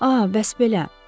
Aa, bəs belə.